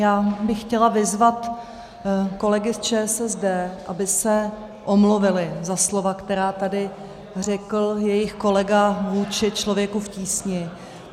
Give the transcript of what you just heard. Já bych chtěla vyzvat kolegy z ČSSD, aby se omluvili za slova, která tady řekl jejich kolega vůči Člověku v tísni.